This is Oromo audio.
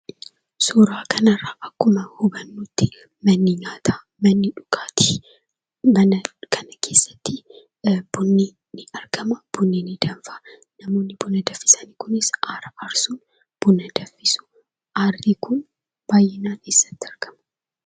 Suuraa kanarraa akkuma hubannutti manni nyaataa, manni dhugaatii mana kana keessatti bunni ni argama. Bunni ni danfa namoonni buna danfisan kunis aara aarsu buna danfisu. Aarri kun baay'inaan eessatti argama?